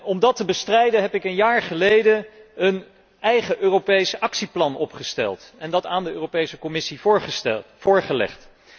Om dat te bestrijden heb ik een jaar geleden een eigen Europees actieplan opgesteld en dat aan de Europese Commissie voorgelegd.